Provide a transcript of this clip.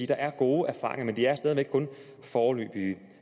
der er gode erfaringer men de er stadig væk kun foreløbige